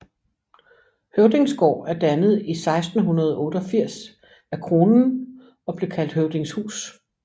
Høvdingsgaard er dannet i 1688 af Kronen og blev kaldt Høvdingshus